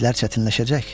işlər çətinləşəcək.